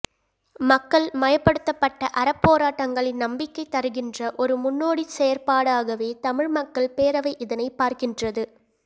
மக்கள் மயப்படுத்தப்பட்ட அறப்போராட்டங்களின் நம்பிக்கை தருகின்ற ஒரு முன்னோடிச்செயற்பாடாகவே தமிழ் மக்கள் பேரவை இதனைப் பார்க்கின்றது